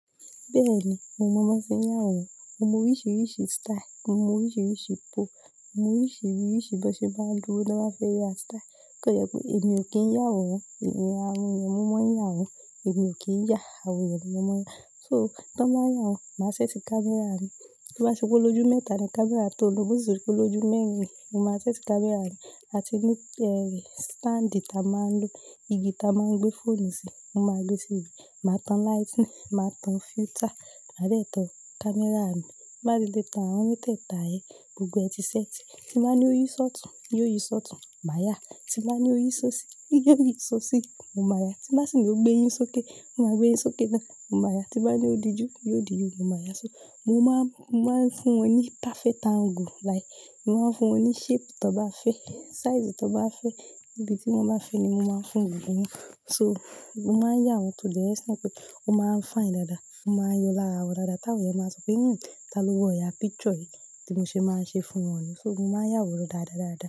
Bẹ́ẹ̀ ni, mo mọ́ bọ́ n sí yá àwọn, mo mọ oríṣìíríṣìí style, mo mọ oríṣìíríṣìí pose, mo mọ oríṣìíríṣìí bó ṣe bá ń dúró tioba fẹ́ ya style. Kò yẹ pé èmi ò kí ń yá àwọn, àwọn yẹn mọ́ mọ́ ń yá àwọn, èmi ò kí ń yá, àwọn yẹn ni mọ́ mọ́ yá. So tí wọ́n bá yá àwọn, màá ṣẹ́ṣí camera mi. Tó bá ṣe olójú mẹ́ta camera mi tàbí olójú mẹ́rin mo ma set camera mi àti ní standing ta máa ń lo igi ta máa ń gbé fonu sí won máa gbé sí màá tún lightning màá tún filter màá de tún camera mii má di lẹ́tà, àwọn mẹ́tẹ̀ tà ẹ́, gbogbo ẹ ti ṣẹ́tì. Tí wọ́n bá ní ó yí ṣọtùn, yó yí ṣọtùn, màá yá. Tí wọ́n bá ní ó yí ṣo sí, yó yí ṣo sí, mo máa yá. Tí wọ́n sì ní ó gbéyín sókè, mo máa gbéyín sókè náà, mo máa yá. Tí wọ́n bá ní ó di ju, yóò di ju, mo máa yá. So mo máa ń, mo máa ń fún wọn ní perfect angle like mo máa ń fún wọn ní shape tó bá fẹ́, size tó bá fẹ́, ibi tí wọ́n bá fẹ́ ni mo máa ń fún wọn ní. So mo máa ń yá àwọn to the extent pé ó máa ń fine dáadáa, ó máa yó lára àwọn dáadáa, táwọn yẹn máa sọ pé "hmmn, ta ló wọ̀ya picture yìí?" tí mo ṣe máa ṣe fún wọn nu. So mo máa ń yá àwọn rọ̀ dáadáa dáadáa.